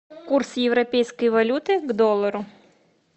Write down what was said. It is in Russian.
курс европейской валюты к доллару